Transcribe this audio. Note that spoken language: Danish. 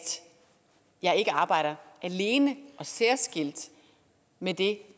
jeg ikke arbejder alene og særskilt med det